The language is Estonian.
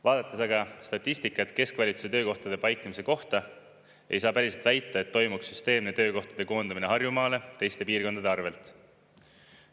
Vaadates aga statistikat keskvalitsuse töökohtade paiknemise kohta, ei saa päriselt väita, et toimuks süsteemne töökohtade koondamine Harjumaale teiste piirkondade arvelt.